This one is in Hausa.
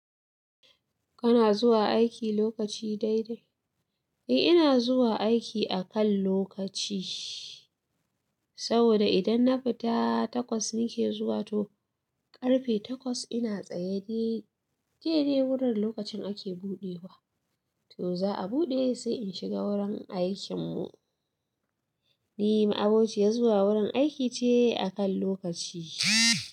Kana zuwa aiki lokaci daidai? Eh ina zuwa aiki akan lokaci, saboda idan na fita takwas nake zuwa to karfe takwas ina tsaye dai. Dai dai wurin lokacin ake buɗewa to za'a buɗe sai in shiga wurin aikin mu. Ni ma'abociyar zuwa wurin aiki ce akan lokaci.